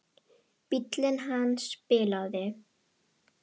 Bíllinn hans bilaði.